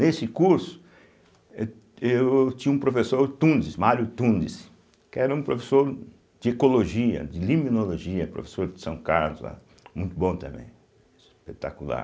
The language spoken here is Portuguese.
Nesse curso, eu eu tinha um professor Tundes, Mário Tundes, que era um professor de Ecologia, de Limnologia, professor de São Carlos, lá, muito bom também, espetacular.